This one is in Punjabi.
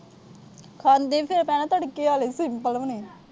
ਖਾਂਦੇ ਵੀ ਭੈਣਾਂ ਫਿਰ ਤੜਕੇ ਆਲੇ। simple ਵੀ ਨੀ।